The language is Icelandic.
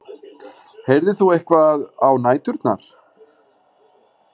Heyrðir þú eitthvað á næturnar?